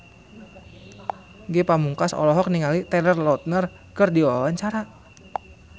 Ge Pamungkas olohok ningali Taylor Lautner keur diwawancara